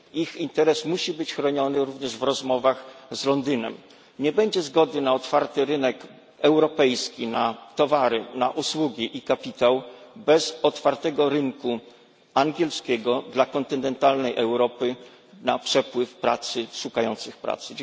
Ich interes musi być chroniony również w rozmowach z Londynem. Nie będzie zgody na otwarty rynek europejski, na towary, na usługi i kapitał bez otwartego rynku angielskiego dla kontynentalnej Europy, na przepływ pracy, na szukających pracy.